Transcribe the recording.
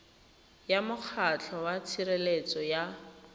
ya mokgatlho wa tshireletso ya